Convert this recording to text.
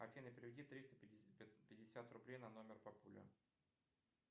афина переведи триста пятьдесят рублей на номер папуля